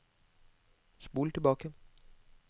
spol tilbake